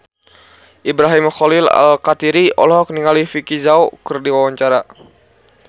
Ibrahim Khalil Alkatiri olohok ningali Vicki Zao keur diwawancara